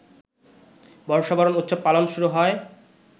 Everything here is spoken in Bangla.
বর্ষবরণ উৎসব পালন শুরু হয়